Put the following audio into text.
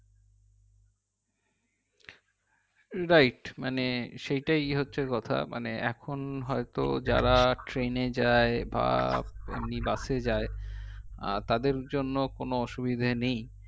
right মানে সেইটা হচ্ছে কথা মানে এখন হয়তো যারা train এ যাই বা বাসে যাই তাদের জন্য কোনো অসুবিধা নেই